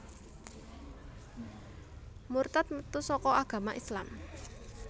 Murtad metu saka agama Islam